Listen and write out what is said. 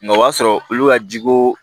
Nka o b'a sɔrɔ olu ka jiko